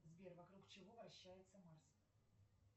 сбер вокруг чего вращается марс